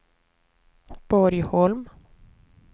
Borgholm